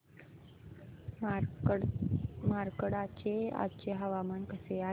मार्कंडा चे आजचे हवामान कसे आहे